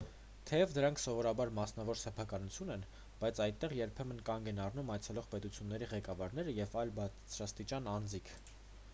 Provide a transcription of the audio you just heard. թեև դրանք սովորաբար մասնավոր սեփականություն են բայց այդտեղ երբեմն կանգ են առնում այցելող պետությունների ղեկավարները և այլ բարձրաստիճան անձինք